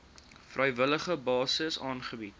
vrywillige basis aangebied